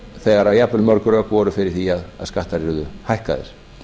þegar jafnvel mörg rök voru fyrir því að skattar yrðu hækkaðir